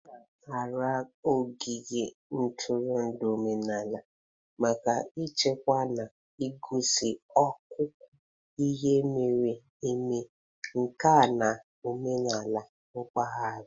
A na-arara ogige ntụrụndụ omenala maka ichekwa na igosi akụkọ ihe mere eme, nka na omenala mpaghara.